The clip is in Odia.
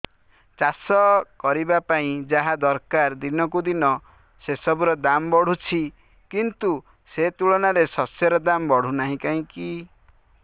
ଚାଷ କରିବା ପାଇଁ ଯାହା ଦରକାର ଦିନକୁ ଦିନ ସେସବୁ ର ଦାମ୍ ବଢୁଛି କିନ୍ତୁ ସେ ତୁଳନାରେ ଶସ୍ୟର ଦାମ୍ ବଢୁନାହିଁ କାହିଁକି